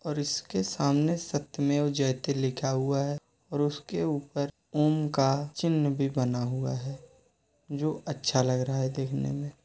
और इसके सामने सत्यमेव जयते लिखा हुआ है। और उसके ऊपर ॐ का चिन्ह भी बना हुआ है जो अच्छा लग रहा है देखने में।